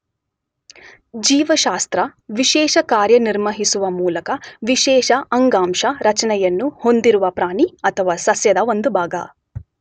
ಜೀವಶಾಸ್ತ್ರ ವಿಶೇಷ ಕಾರ್ಯನಿರ್ವಹಿಸುವ ಮೂಲಕ ವಿಶೇಷ ಅಂಗಾಂಶ ರಚನೆಯನ್ನು ಹೊಂದಿರುವ ಪ್ರಾಣಿ ಅಥವಾ ಸಸ್ಯದ ಒಂದು ಭಾಗ.